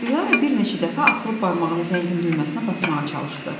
Dilarə bir neçə dəfə atılıb barmağını zəngin düyməsinə basmağa çalışdı.